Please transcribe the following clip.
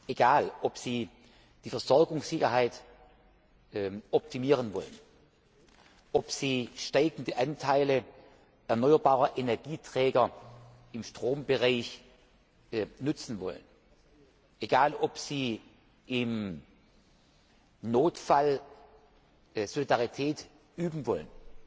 Egal, ob Sie die Versorgungssicherheit optimieren wollen, ob Sie steigende Anteile erneuerbarer Energieträger im Strombereich nützen wollen, ob Sie im Notfall Solidarität üben wollen,